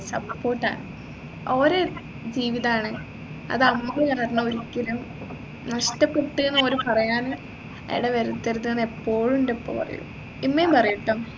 support ആ ഓരേ ജീവിതാണ് അത് നമ്മ കാരണം ഒരിക്കലും നഷ്ടപ്പെട്ടെന്ന് ഓര് പറയാൻ ഇടവരുത്തരുതെന്ന് എപ്പോഴും എൻെറ ഉപ്പ പറയും ഇമ്മയും പറയട്ടോ